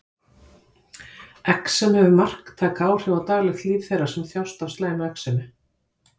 Exem hefur marktæk áhrif á daglegt líf þeirra sem þjást af slæmu exemi.